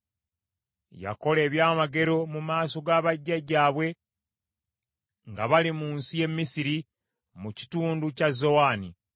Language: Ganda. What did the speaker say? Yakola ebyamagero mu maaso ga bajjajjaabwe nga bali mu nsi y’e Misiri, mu kitundu kya Zowani.